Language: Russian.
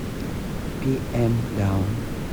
пи эм даун